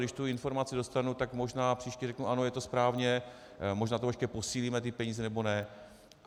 Když tu informaci dostanu, tak možná příště řeknu, ano, je to správně, možná to ještě posílíme, ty peníze, nebo ne.